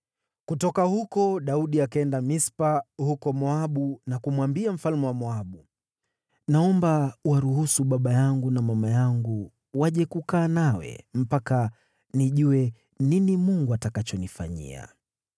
Kutoka huko Daudi akaenda Mispa huko Moabu na kumwambia mfalme wa Moabu, “Naomba uwaruhusu baba yangu na mama yangu waje kukaa nawe mpaka nijue nini Mungu atakachonifanyia.”